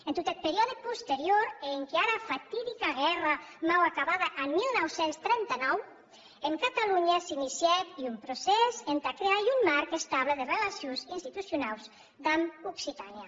en tot eth periòde posterior e enquiara fatidica guèrra mau acabada en dinou trenta nou en catalonha s’inicièc un procès entà crear un marc estable de relacions institucionaus damb occitània